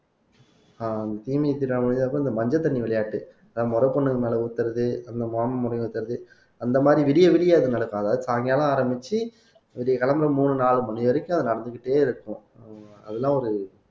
ஆஹ் இந்த மஞ்சள் தண்ணி விளையாட்டு அதான் முற பொண்ணுங்க மேலே ஊத்துறது அந்த மாம முறை ஊத்துறது அந்த மாதிரி விடிய விடிய அது நடக்கும் அதாவது சாயங்காலம் ஆரம்பிச்சு விடியக் காலையிலே மூணு நாலு மணி வரைக்கும் அது நடந்துக்கிட்டே இருக்கும் அதெல்லாம் ஒரு